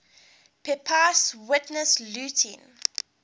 pepys witnessed looting